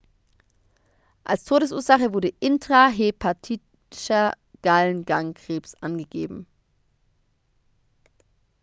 als todesursache wurde intrahepatischer gallengangkrebs angegeben